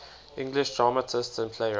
english dramatists and playwrights